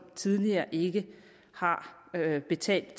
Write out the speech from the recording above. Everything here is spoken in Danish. tidligere ikke har betalt